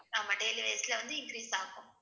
ஆமா daily wise ல வந்து increase ஆகும்